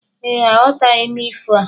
Ee, aghọtaghi m ifo a.